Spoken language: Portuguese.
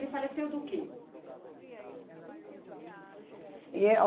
Ele faleceu do quê?